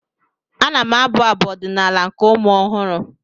Ana m abụ Abụ ọdịnaala nke ụmụ ọhụrụ